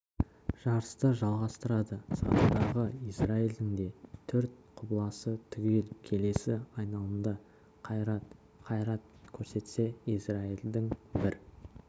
жарысты жалғастырады сатыдағы израильдің де төрт құбыласы түгел келесі айналымда қайрат қайрат көрсетсе израильдің бір